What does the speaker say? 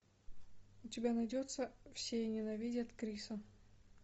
у тебя найдется все ненавидят криса